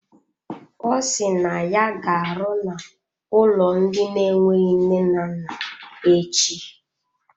Ọ si na ya ga-arụ n'ụlọ ndị na-enweghị nne na nna echi.